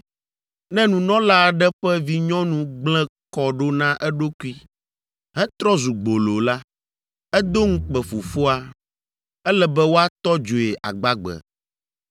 Ne nunɔla aɖe ƒe vinyɔnu gblẽ kɔ ɖo na eɖokui hetrɔ zu gbolo la, edo ŋukpe fofoa, ele be woatɔ dzoe agbagbe.